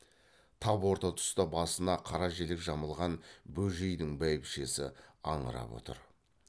тап орта тұста басына қара желек жамылған бөжейдің бәйбішесі аңырап отыр